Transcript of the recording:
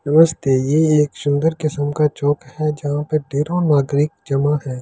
नमस्ते ये एक सुन्दर किस्म का चौक है जहाँ पे ढेरो नागरिक जमा है।